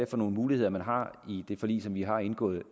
for nogle muligheder man har i det forlig som vi har indgået